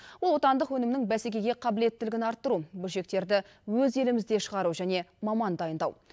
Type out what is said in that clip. ол отандық өнімнің бәсекеге қабілеттілігін арттыру бөлшектерді өз елімізде шығару және маман дайындау